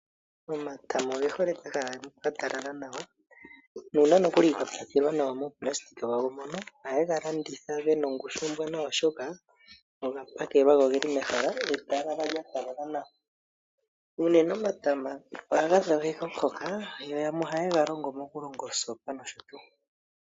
Omatama oge hole pehala pwa talala nawa. Nuuna ye ga tula muunayilona wawo mono oha yega landitha gena ongushu ombwanawa oshoka oga pakelwa. Go ogeli mehala lya talala nawa. Omatama ohaga dhogeke omuhoka yo yamwe oha ye ga ningi oosopa.